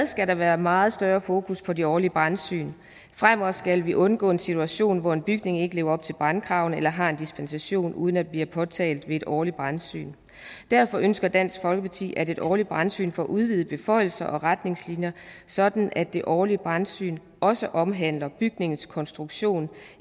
skal der være meget større fokus på de årlige brandsyn fremover skal vi undgå en situation hvor en bygning ikke lever op til brandkravene eller har en dispensation uden at det bliver påtalt ved et årligt brandsyn derfor ønsker dansk folkeparti at et årligt brandsyn får udvidede beføjelser og retningslinjer sådan at det årlige brandsyn også omhandler bygningens konstruktion